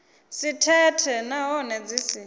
si thethe nahone dzi si